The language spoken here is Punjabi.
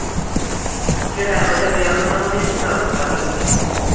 ਜਿਹੜਾ ਏਹੋ ਜਿਹਾ ਵਿਆਹ ਹੁੰਦਾ ਉਹਦੇ ਚ ਛਾਪ ਕਾਹਦੀ ਹੁੰਦੀ ਐ